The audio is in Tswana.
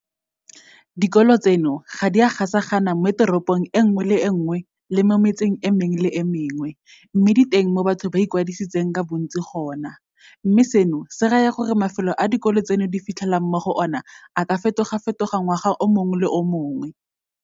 Dikolo tseno ga di a gasagana moteropong e nngwe le e nngwe le mo metseng e mengwe le e mengwe, mme di teng mo batho ba ikwadisitseng ka bontsi gone, mme seno se raya gore mafelo a dikolo tseno di fitlhelwang mo go ona a ka fetogafetoga ngwaga o mongwe le o mongwe.